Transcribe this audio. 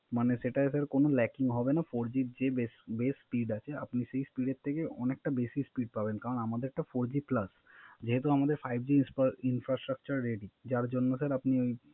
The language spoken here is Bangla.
মানে সেটা Sir কোন Lacking হবে না Four G এর যে Best speed আছে আপনি সে Speed এর থেকে অনেকটা বেশি Speed পাবেন কারন আমাদেরটা Four G Plus যেহেতু আমাদের Five G infrastructure ready যার জন্য Sir